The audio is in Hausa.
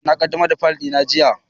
E, na ƙaɗamar da faƴil na jiya